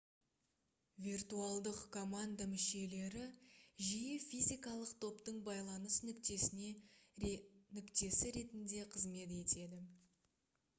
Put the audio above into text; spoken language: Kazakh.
виртуалдық команда мүшелері жиі физикалық топтың байланыс нүктесі ретінде қызмет етеді